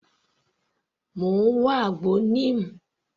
Mò ń wá àgbo Neem.